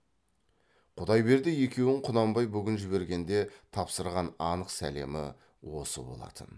құдайберді екеуін құнанбай бүгін жібергенде тапсырған анық сәлемі осы болатын